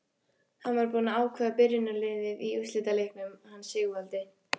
Hann var búinn að ákveða byrjunarliðið í úrslitaleiknum hann Sigvaldi.